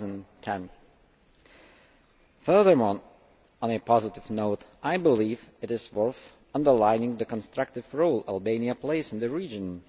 2010. Furthermore, on a positive note, I believe it is worth underlining the constructive role Albania plays in the region,